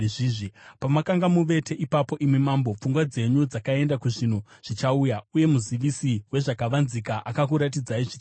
“Pamakanga muvete ipapo, imi mambo, pfungwa dzenyu dzakaenda kuzvinhu zvichauya, uye muzivisi wezvakavanzika akakuratidzai zvichaitika.